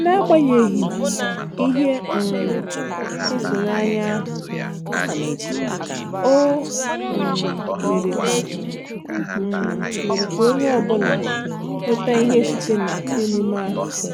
N'agbanyeghị ihe um ituanya ahụ, o um mere ka um mere ka onye ọ bụla nweta ihe site na emume ahụ.